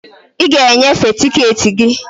I ga e nyefee tiketi gị.